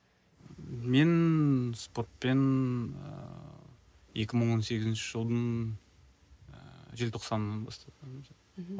мен спортпен ыыы екі мың он сегізінші жылдың ыыы желтоқсанынан бастап мхм